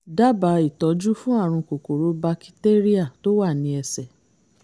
dábàá ìtọ́jú fún àrùn kòkòrò bakitéríà tó wà ní ẹsẹ̀